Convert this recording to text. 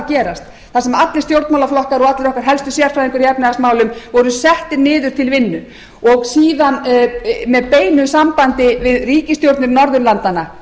gerast þar sem allir stjórnmálaflokkar og allir okkar helstu sérfræðingar í efnahagsmálum voru settir niður til vinnu og síðan með beinu sambandi við ríkisstjórnir norðurlandanna